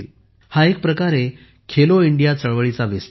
हा एक प्रकारे खेलो इंडिया चळवळीचा विस्तार आहे